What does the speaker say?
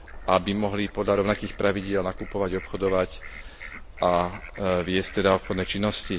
Aby mohli podľa rovnakých pravidiel nakupovať, obchodovať a viesť teda obchodné činnosti.